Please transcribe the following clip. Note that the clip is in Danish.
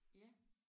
Ja